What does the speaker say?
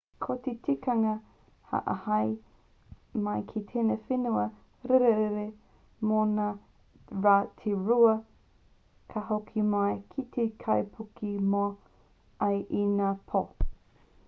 ko te tikanga ka āhei mai ki tēnei whenua rirerire mō ngā rā e rua ka hoki mai ki te kaipuke moe ai i ngā pō